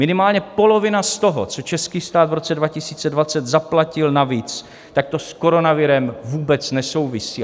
Minimálně polovina z toho, co český stát v roce 2020 zaplatil navíc, tak to s koronavirem vůbec nesouvisí.